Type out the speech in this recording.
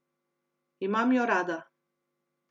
Imam jo rada.